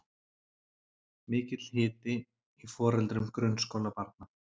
Mikill hiti í foreldrum grunnskólabarna